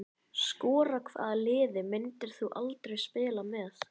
Skora Hvaða liði myndir þú aldrei spila með?